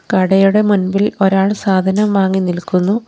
കടയുടെ മുൻപിൽ ഒരാൾ സാധനം വാങ്ങി നിൽക്കുന്നു.